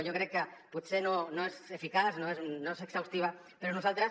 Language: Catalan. jo crec que potser no és eficaç no és exhaustiva però nosaltres